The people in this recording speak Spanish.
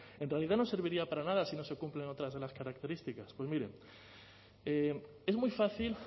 en realidad no serviría para nada si no se cumplen otras de las características pues miren es muy fácil